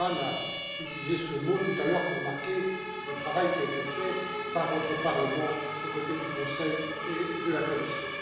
Bullman a utilisé ce mot tout à l'heure pour marquer le travail qui a été fait par votre Parlement aux côtés du Conseil et de la Commission.